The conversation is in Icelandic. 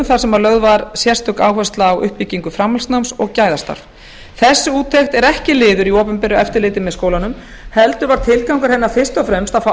þar sem lögð var sérstök áhersla á uppbyggingu framhaldsnáms og gæðastarf þessi úttekt er ekki liður í opinberu eftirliti með skólanum heldur var tilgangur hennar fyrst og fremst að fá